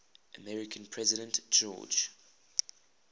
american president george